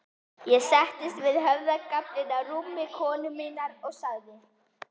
Ég settist við höfðagaflinn á rúmi konu minnar og sagði